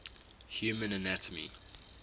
human anatomy